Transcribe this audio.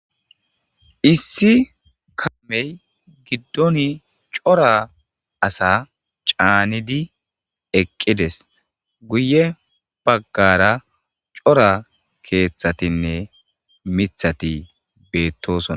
Issi kamey giddon cora asa caanidi eqqides guye baggara cora keeththatinne mithati beettosoa.